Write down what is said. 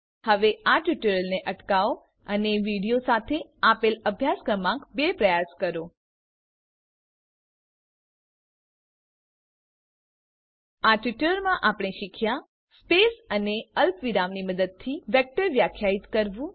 હવે ટ્યુટોરીયલને અટકાવો અને વિડીઓ સાથે આપેલ અભ્યાસ ક્રમાંક બે પ્રયાસ કરો આ ટ્યુટોરીયલમાં આપણે શીખ્યા સ્પેસ અને અલ્પવિરામની મદદથી વેક્ટર વ્યાખ્યાયિત કરવું